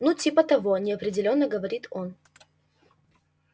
ну типа того неопределённо говорит он